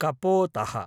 कपोतः